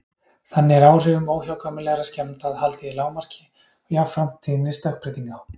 Þannig er áhrifum óhjákvæmilegra skemmda haldið í lágmarki og jafnframt tíðni stökkbreytinga.